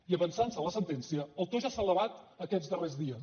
i avançant se a la sentència el to ja s’ha elevat aquests darrers dies